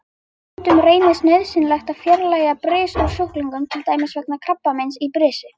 Stundum reynist nauðsynlegt að fjarlægja bris úr sjúklingum, til dæmis vegna krabbameins í brisi.